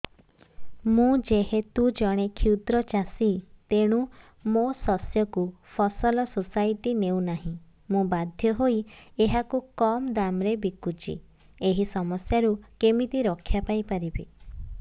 ମୁଁ ଯେହେତୁ ଜଣେ କ୍ଷୁଦ୍ର ଚାଷୀ ତେଣୁ ମୋ ଶସ୍ୟକୁ ଫସଲ ସୋସାଇଟି ନେଉ ନାହିଁ ମୁ ବାଧ୍ୟ ହୋଇ ଏହାକୁ କମ୍ ଦାମ୍ ରେ ବିକୁଛି ଏହି ସମସ୍ୟାରୁ କେମିତି ରକ୍ଷାପାଇ ପାରିବି